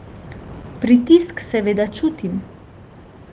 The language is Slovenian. Pritisk seveda čutim.